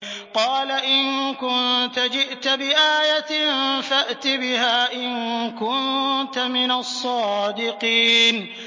قَالَ إِن كُنتَ جِئْتَ بِآيَةٍ فَأْتِ بِهَا إِن كُنتَ مِنَ الصَّادِقِينَ